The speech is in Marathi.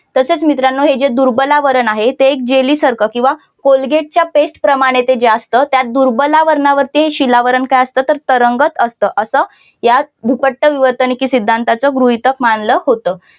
तसेच मित्रांनो हे जे दुर्बलावरण आहे ते एक जेलीसारखा किंवा कोलगेट प्रमाणे ते जे असत त्या दुर्बलावरणावरती ते शिलावरण काय असतं तर तरंगत असतं असं यात भूपट्ट विवर्तननेकेत सिद्धांताचा गृहीतक मानलं होतं.